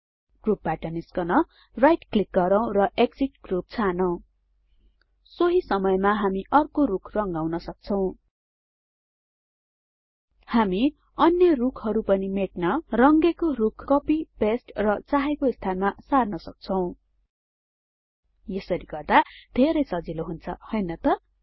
ग्रुपबाट निस्कन right click गर्नुहोस् र एक्सिट ग्रुप छानौं सोहि समयमा हामी अर्को रुख रंगाउन सक्छौं हामी अन्य रुखहरु पनि मेट्न रंगेको रुख कपि पेस्ट र चाहेको स्थानमा सार्न सक्छौं यसरी गर्दा धेरै सजिलो हुन्छ हैन त